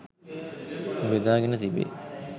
බෙදාගෙන තිබේ.